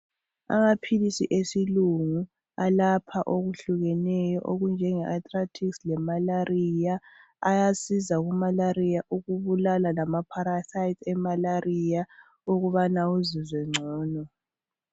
Amaphilisi esilungu alapha okuhlukeneyo okunjenge arthritis lemalaria ayasiza kumalaria ukubulala lama parasites emalaria ukubana uzizwe ngcono.